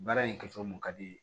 Baara in kɛcogo mun ka di